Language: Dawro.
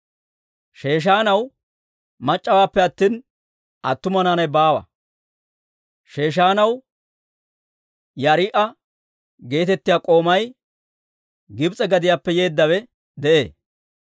Sheeshaanaw mac'c'awaappe attina, attuma naanay baawa. Sheeshaanaw Yaariha'a geetettiyaa k'oomay Gibs'e gadiyaappe yeeddawe de'ee.